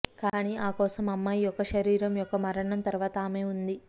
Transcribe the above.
కానీ ఆ కోసం అమ్మాయి యొక్క శరీరం యొక్క మరణం తరువాత ఆమె ఉంది